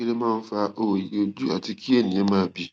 kí ló máa ń fa òòyì ojú àti kí ènìyàn máa bì